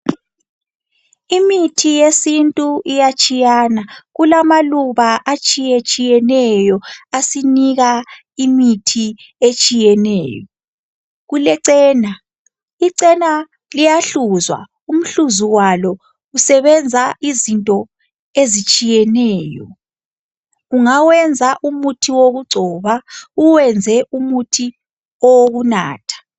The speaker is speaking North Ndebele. imithi yesintu iyatshiyana kulama luba atshiyetshiyeneyo asinika imithi etshiyeneyo kulechena i chena liyahluzwa umhluzu walo usebenza izinto ezitshiyeneyo ungawenza umuthi wokugcoba uwenze umuthi wokunatha